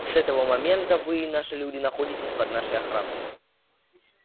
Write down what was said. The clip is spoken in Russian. с этого момента вы и наши люди находитесь под нашей охраной